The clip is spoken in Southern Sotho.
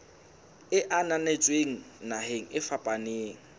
e ananetsweng naheng e fapaneng